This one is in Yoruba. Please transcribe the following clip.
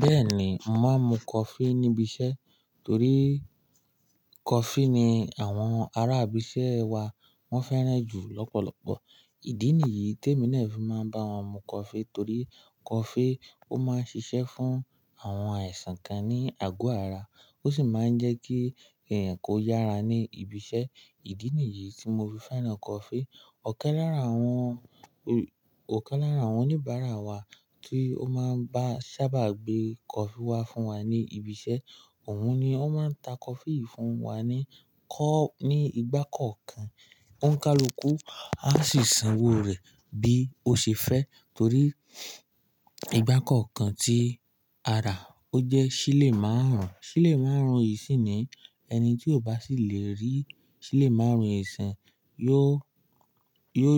Bẹ́ẹ̀ni, màá mu coffee níbi iṣẹ́ torí coffee ni àwọn ará ibi iṣẹ́ wa wọ́n fẹ́ràn jù lọ́pọ̀lọpọ̀. Ìdí nìyí tí èmi náà fi máa ń bá wọn mu coffee torí coffee ó máa ń ṣiṣẹ́ fún àwọn ẹ̀sàn kan ní àgọ́ ara. Ó sì máa ń jẹ́ kí ẹ̀yàn kó yára ní ibi iṣẹ́. Ìdí nìyí tí mo fi fẹ́ràn coffee. Ọ̀kẹ́ lára àwọn, òkè lára àwọn oníbàárà wa tí ó máa ń bá sábà gbé coffee wá fún wa ní ibi iṣẹ́, òun ni ó máa ń ta coffee fún wa ní kọ́, ní ìgbà kọ̀ọ̀kan. Ó ń ka lóko, a sì san owó rẹ̀ bí ó ṣe fẹ́ torí ìgbà kọ̀ọ̀kan tí a rà, ó jẹ́ sílè márùn-ún. Sílè márùn-ún yìí sì ni ẹni tí ò bá sì lè rí sílè márùn-ún ẹ̀sán yóò, yóò,